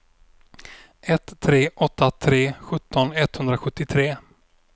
ett tre åtta tre sjutton etthundrasjuttiotre